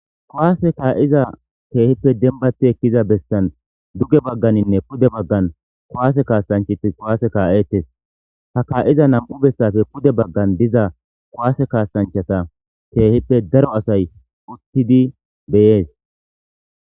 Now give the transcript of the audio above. kowaase kaa7iza keehippe dembati ekkiza bestan duge bagganinne pude baggan kowaase kaasanchati kowaase kaa7eetes ha kaa7iza nam7u bessafe pude baggan diza kowaase kaassanchata keehippe daro asay uttidi beyees